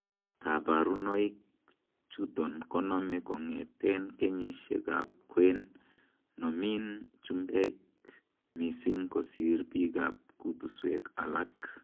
Koborunoik chuton konome kong'eten kenyisiekab kwen; nomin chumbek missing kosir biikab kutuswek alak.